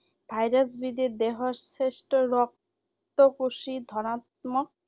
virus বিধে দেহৰ শ্বেত ৰক্ত কোশী ধনাত্মক।